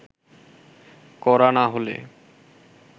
করা না হলে